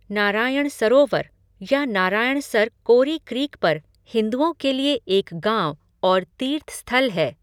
नारायण सरोवर या नारायणसर कोरी क्रीक पर हिंदुओं के लिए एक गाँव और तीर्थस्थल है।